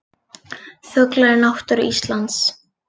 Fuglar í náttúru Íslands.